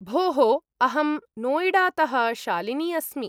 भोः, अहं नोयिडातः शालिनी अस्मि।